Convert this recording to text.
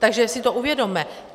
Takže si to uvědomme.